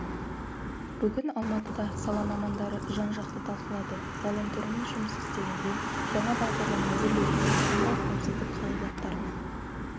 бүгін алматыда сала мамандары жан-жақты талқылады ғаламтормен жұмыс істегенде жаңа бағдарлама әзірлегенде қандай қауіпсіздік қағидаттарына